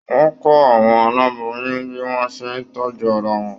Wọn kọ àwọn aláboyún bí wọn o ṣe tọjú ara wọn.